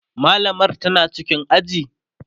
mallamar tana cikin aji?